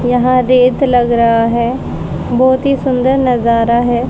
यहां रेत लग रहा है बहोत ही सुंदर नजारा है।